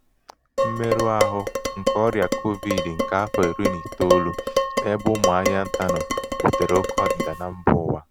mmerụahụ nke ọrịa kovid nke afọ iri na itoolu n'ebe ụmụ ahịa ntà nọ butere òké ọdịda na mba ụwa